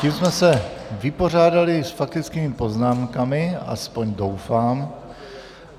Tím jsme se vypořádali s faktickými poznámkami, aspoň doufám.